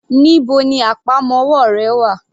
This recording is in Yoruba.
Níbo ni àpamọ́wọ́ rẹ wà?